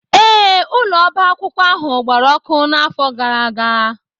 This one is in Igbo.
ee, ụlọ ọba akwụkwọ ahụ gbara ọkụ n'afọ gara aga